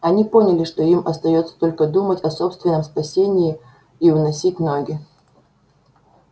они поняли что им остаётся только думать о собственном спасении и уносить ноги